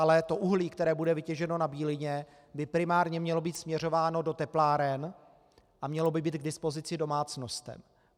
Ale to uhlí, které bude vytěženo na Bílině, by primárně mělo být směřováno do tepláren a mělo by být k dispozici domácnostem.